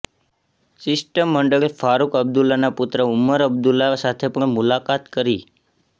શિષ્ટ મંડળે ફારુક અબદુલ્લાના પુત્ર ઉમર અબદુલ્લા સાથે પણ મુલાકાત કરી